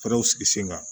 Fɛɛrɛw sigi sen kan